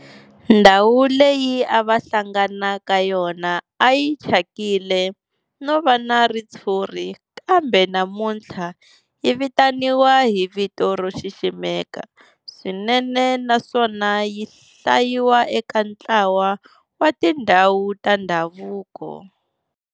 Ndhawu leyi a va hlangana ka yona a yi thyakile no va na ritshuri kambe namuntlha yi vitaniwa hi vito ro xiximeka swinene naswona yi hlayiwa eka ntlawa wa tindhawu ta ndhavuko.